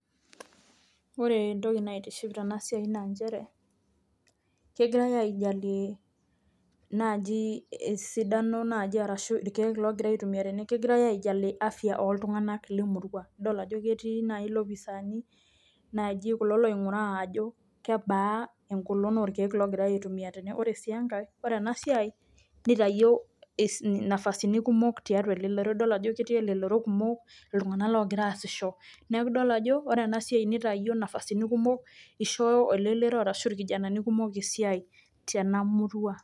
Ore entoki naitiship tena siai naa njere kegirai aijalie naaji esidano naaji arashu irkeek laaji logirai aitumia tene, kegirai ajali afya ooltung'anak le murua. Adol ajo keti nai lopisaani naaji kulo loing'uraa ajo kebaa eng'olon orkeek loogirai aitumia tene. Ore si enkae ore ena siai niayio es inafasini kumok tiatua elelero idol ajo ketii elelero kumok iltung'anak loogira aasisho. Neeku idol ajo ore ena siai nitayio nafasini kumok ishoo elelero arashu irkijanani kumok esiai tena murua.